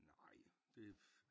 Nej det